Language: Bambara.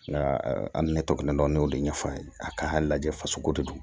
Nka an ni ne tɔgɔ kelen dɔn ne y'o de ɲɛfɔ a ye a ka lajɛ faso ko de do